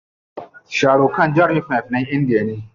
Sharukhan jarumin fina finan Indiya ne.